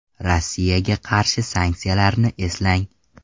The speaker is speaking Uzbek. Rossiyaga qarshi sanksiyalarni eslang.